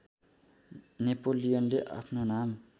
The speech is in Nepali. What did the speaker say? नेपोलियनले आफ्नो नाम